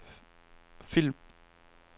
film